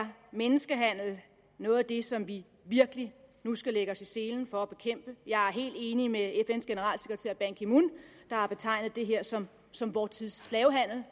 menneskehandel noget af det som vi virkelig nu skal lægge os i selen for at bekæmpe jeg er helt enig med fns generalsekretær ban ki moon der har betegnet det her som som vor tids slavehandel